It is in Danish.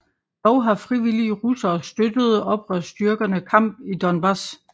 Dog har frivillige russere støttede oprørsstyrkerne kamp i Donbass